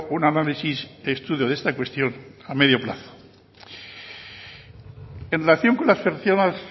un análisis estudio de esta cuestión a medio plazo en relación con las personas